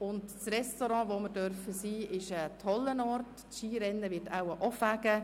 Das vorgesehene Restaurant ist ein toller Ort, und das Skirennen wird auch Spass machen.